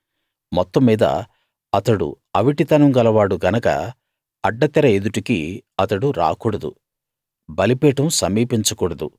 మొత్తం మీద అతడు అవిటితనం గలవాడు గనక అడ్డతెర ఎదుటికి అతడు రాకూడదు బలిపీఠం సమీపించకూడదు